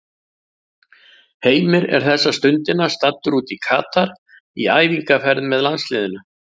Heimir er þessa stundina staddur út í Katar í æfingaferð með landsliðinu.